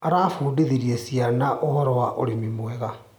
Arabundithirie ciana ũhoro wa ũrĩmi mwega.